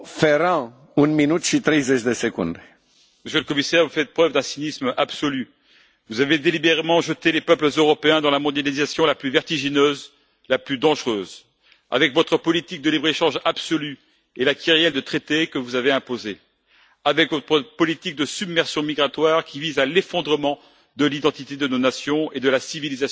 Monsieur le Président, Monsieur le Commissaire, vous faites preuve d'un cynisme absolu. Vous avez délibérément jeté les peuples européens dans la mondialisation la plus vertigineuse, la plus dangereuse avec votre politique de libre échange absolue et la kyrielle de traités que vous avez imposés, avec votre politique de submersion migratoire qui vise à l'effondrement de l'identité de nos nations et de la civilisation européenne,